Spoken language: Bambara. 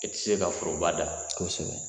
E tɛ se ka foroba da, kosɛbɛ